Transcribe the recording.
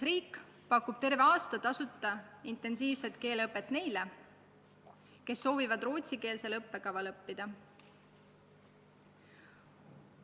Riik pakub seal terve aasta tasuta intensiivset keeleõpet neile, kes soovivad rootsikeelsel õppekaval õppida.